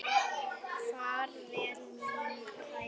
Far vel minn kæri.